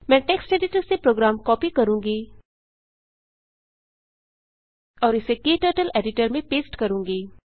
मैं text editor से program copy करूँगी और इसे क्टर्टल एडिटर में पेस्ट करूँगी